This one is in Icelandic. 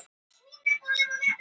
Ekki er búið að meta tjónið